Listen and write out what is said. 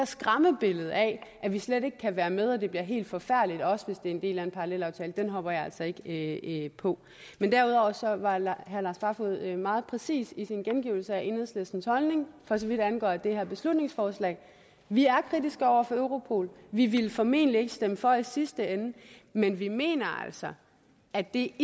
skræmmebillede af at vi slet ikke kan være med og det bliver helt forfærdeligt også hvis det er en del af en parallelaftale hopper jeg altså ikke på derudover var herre lars barfoed meget præcis i sin gengivelse af enhedslistens holdning for så vidt angår det her beslutningsforslag vi er kritiske over for europol vi ville formentlig ikke stemme for det i sidste ende men vi mener altså at det